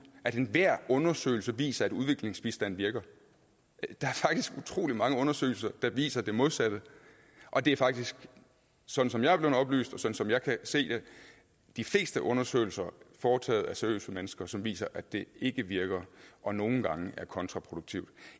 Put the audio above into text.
at enhver undersøgelse viser at udviklingsbistand virker der er utrolig mange undersøgelser der viser det modsatte og det er faktisk sådan som jeg er blevet oplyst og som jeg kan se det de fleste undersøgelser foretaget af seriøse mennesker som viser at den ikke virker og nogle gange er kontraproduktiv